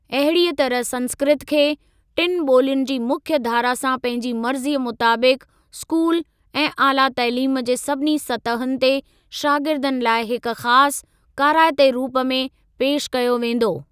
अहिड़ीअ तरह संस्कृत खे, टिनि ॿोलियुनि जी मुख्य धारा सां पंहिंजी मर्ज़ीअ मुताबिक़ स्कूल ऐं आला तइलीम जे सभिनी सतहुनि ते शागिर्दनि लाइ हिक ख़ासि, काराइते रूप में पेशि कयो वेंदो।